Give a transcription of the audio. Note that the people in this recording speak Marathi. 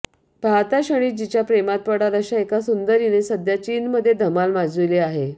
पाहता क्षणीच जिच्या प्रेमात पडाल अशा एका सुंदरीने सध्या चीनमध्ये धमाल माजविली आहे